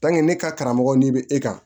ne ka karamɔgɔ n'i bɛ e kan